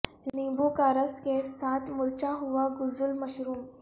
نیبو کا رس کے ساتھ مرچھا ہوا غسل مشروم